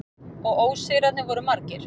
Og ósigrarnir voru margir.